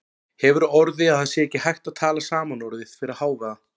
Hefur á orði að það sé ekki hægt að tala saman orðið fyrir hávaða.